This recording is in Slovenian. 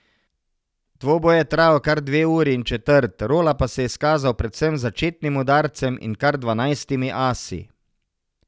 Dvoboj je trajal kar dve uri in četrt, Rola pa se je izkazal predvsem z začetnim udarcem in kar dvanajstimi asi.